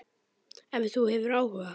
Ef þú hefur áhuga.